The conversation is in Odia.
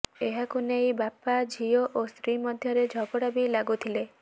ଏହାକୁ ନେଇ ବାପା ଝିଅ ଓ ସ୍ତ୍ରୀ ମଧ୍ୟରେ ଝଗଡ଼ା ବି ଲାଗୁଥିଲେ